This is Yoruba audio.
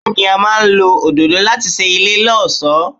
Bẹ́ẹ̀ni, a máa ń lọ òdòdó láti ṣe ilé lọ́ọ̀ṣọ́.